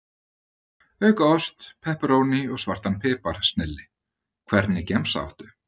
Auka ost, pepperóní og svartan pipar, snilli Hvernig gemsa áttu?